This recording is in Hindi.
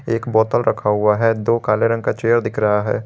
एक बोतल रखा हुआ है दो काले रंग का चेयर दिख रहा है।